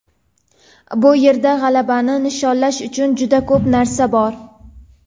Bu yerda g‘alabani nishonlash uchun juda ko‘p narsa bor.